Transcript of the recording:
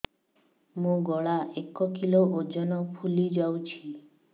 ମୋ ଗଳା ଏକ କିଲୋ ଓଜନ ଫୁଲି ଯାଉଛି